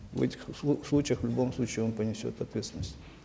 в этих случаях в любом случае он понесет ответственность